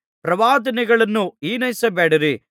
ಪ್ರವಾದನೆಗಳನ್ನು ಹಿನೈಸಬೇಡಿರಿ